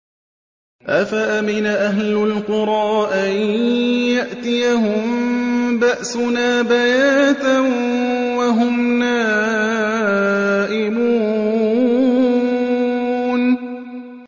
أَفَأَمِنَ أَهْلُ الْقُرَىٰ أَن يَأْتِيَهُم بَأْسُنَا بَيَاتًا وَهُمْ نَائِمُونَ